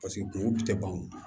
kunguru tɛ ban o